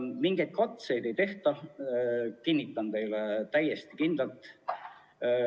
Mingeid katseid ei tehta, kinnitan seda teile täiesti kindlalt.